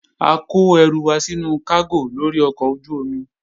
A kó ẹrù wa sínú kágò lórí ọkọ̀ ojú-omi